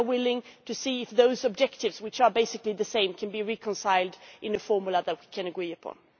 But we are willing to see if those objectives, which are basically the same, can be reconciled in a formula that we can agree upon.